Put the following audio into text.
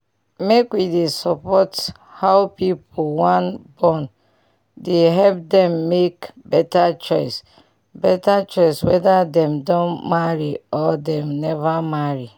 make wey dey support how pipu wan born dey help dem make beta choice beta choice weda dem don marry or dem neva marry